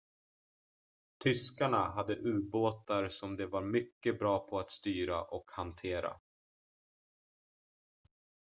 tyskarna hade ubåtar som de var mycket bra på att styra och hantera